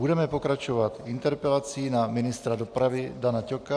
Budeme pokračovat interpelací na ministra dopravy Dana Ťoka.